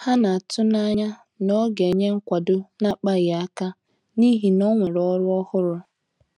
Ha na-atụanya na ọ ga-enye nkwado na-akpaghị aka n'ihi na onwere ọrụ ọhụrụ.